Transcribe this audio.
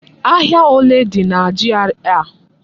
Ahia ole dị na GRA a?